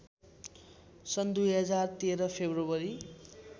सन् २०१३ फेब्रुअरी